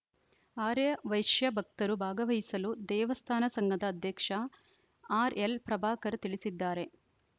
ಆರ್ಯವೈಶ್ಯ ಭಕ್ತರು ಭಾಗವಹಿಸಲು ದೇವಸ್ಥಾನ ಸಂಘದ ಅಧ್ಯಕ್ಷ ಆರ್‌ಎಲ್‌ಪ್ರಭಾಕರ್‌ ತಿಳಿಸಿದ್ದಾರೆ